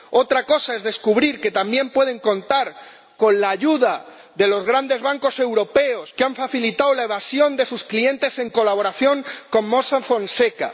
Otra cosa es descubrir que también pueden contar con la ayuda de los grandes bancos europeos, que han facilitado la evasión de sus clientes en colaboración con Mossack Fonseca.